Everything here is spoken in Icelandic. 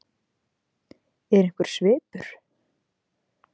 Er einhver svipur?